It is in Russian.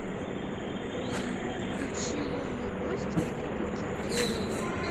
включи лунный гость филиппа киркорова